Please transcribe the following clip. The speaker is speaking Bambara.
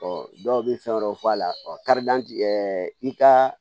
dɔw bɛ fɛn wɛrɛw fɔ a la kad'an i ka